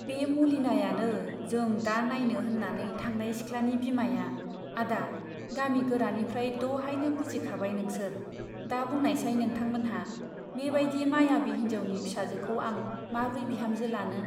बे मलिनायानो जों दा नाइनो होन्नानै थांनाय सिख्लानि बिमाया आदा गामि गोरानिफ्राय दहायनो बुजिखाबाय नोंसोर दा बुंनायसाय नोंथांमोनहा बे बाइदि मायाबि हिन्जाउनि फिसाजोखौ आं माब्रै बिहामजो लानो ?